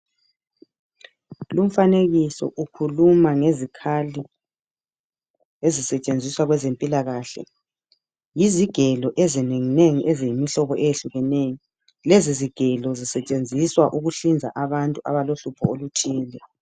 Lumfanekiso ukhuluma ngezikhali ezisetshenziswa kwezempilakahle yizigelo ezinenginengi eziyimihlobo eyehlukeneyo lezizigelo zisetshenziswa ukuhlinza abantu abalehlupho oluthile.